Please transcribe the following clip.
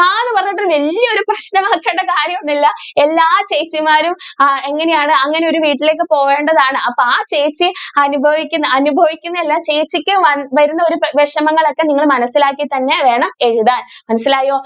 വല്യോരു പ്രശ്നം ആക്കണ്ട കാര്യം ഒന്നും ഇല്ല. എല്ലാ ചേച്ചിമാരും ആ എങ്ങനെ ആണ് അങ്ങനെ ഒരു വീട്ടിലേക്ക് പോകേണ്ടതാണ് അപ്പൊ ആ ചേച്ചി അനുഭവിക്കുന്ന അനുഭവിക്കുന്നത് അല്ല ആ ചേച്ചിക്ക് വരുന്ന വിഷമങ്ങൾ ഒക്കെ നിങ്ങൾ മനസിലാക്കി തന്നെ വേണം എഴുതാൻ മനസ്സിലായോ?